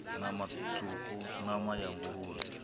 nama tswuku nama ya nguluvhe